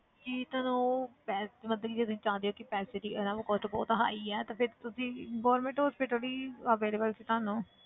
ਜੇ ਤਾਂ ਉਹ ਪੈ~ ਮਤਲਬ ਕਿ ਤੁਸੀਂ ਚਾਹੁੰਦੇ ਹੋ ਕਿ ਪੈਸੇ ਦੀ ਹਨਾ cost ਬਹੁਤ high ਹੈ ਤਾਂ ਫਿਰ ਤੁਸੀਂ government hospital ਹੀ available ਸੀ ਤੁਹਾਨੂੰ